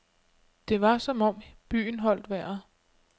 Det var som om byen holdt vejret.